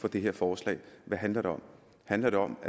for det her forslag hvad handler det om handler det om